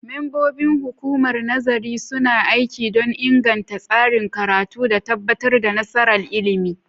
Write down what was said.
Membobin Hukumar Nazarin suna aiki don inganta tsarin karatu da tabbatar da nasarar ilimi.